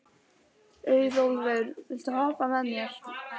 Auðólfur, viltu hoppa með mér?